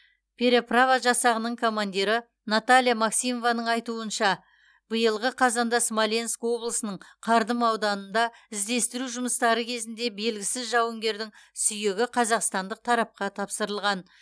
переправа жасағының командирі наталья максимованың айтуынша биылғы қазанда смоленск облысының кардым ауданында іздестіру жұмыстары кезінде белгісіз жауынгердің сүйегі қазақстандық тарапқа тапсырылған